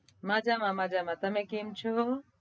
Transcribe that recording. મજામાં મજામાં તમે કેમ છો?